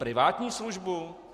Privátní službu?